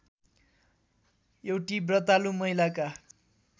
एउटी व्रतालु महिलाका